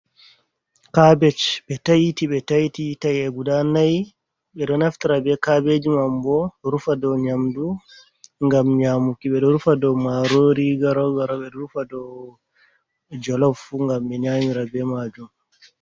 Kabej ɓe taiti ɓe taiti tae guda nai be do naftara be kabeji mambo rufa do nyamdu gam nyamuki be do rufa do marori garogaro be do rufa do jolof gam menyamira be majun.